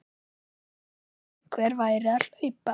Einsog einhver væri að hlaupa